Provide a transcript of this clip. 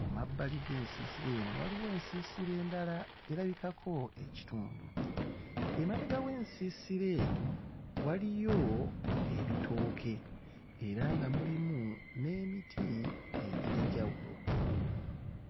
Ku mabbali g'ensiisira eno waliwo ensiisira endala erabikako ekitundu. Emabega w'ensiisira eno waliyo ebitooke era nga mulimu n'emiti egy'enjawulo.